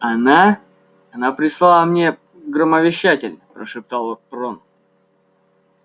она она прислала мне громовещатель прошептал рон